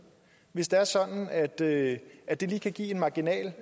hvis det er sådan at det at det lige kan give marginalt